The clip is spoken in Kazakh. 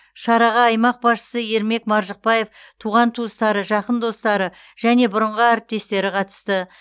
шараға аймақ басшысы ермек маржықпаев туған туыстары жақын достары және бұрынғы әріптестері қатысты